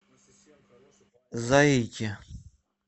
заике